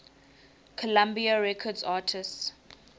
columbia records artists